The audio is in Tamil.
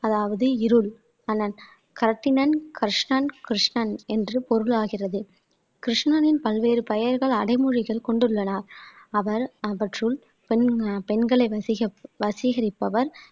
அதாவது இருள் தனன் களத்தினன் க்ரிஷ்ணன் கிருஷ்ணன் என்று பொருளாகிறது கிருஷ்ணனின் பல்வேறு பெயர்கள் அடைமொழிகள் கொண்டுள்ளன அவர் அவற்றுள் பெண் பெண்களை வசீகவசீகரிப்பவர்